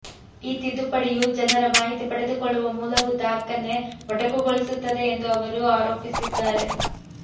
ಈ ತಿದ್ದುಪಡಿಯು ಜನರ ಮಾಹಿತಿ ಪಡೆದುಕೊಳ್ಳುವ ಮೂಲಭೂತ ಹಕ್ಕನ್ನೇ ಮೊಟಕುಗೊಳಿಸುತ್ತದೆ ಎಂದು ಅವರು ಆರೋಪಿಸಿದ್ದಾರೆ